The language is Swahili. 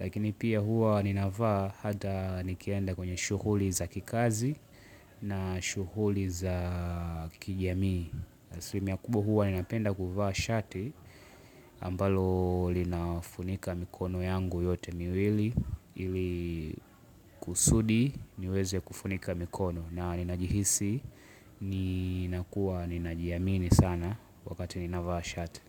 Lakini pia huwa ninavaa hata nikienda kwenye shughuli za kikazi na shughuli za kijamii. Asilimia kubwa huwa ninapenda kuvaa shati ambalo linafunika mikono yangu yote miwili. Ili kusudi niweze kufunika mikono na ninajihisi ninakuwa ninajiamini sana wakati ninavaa shati.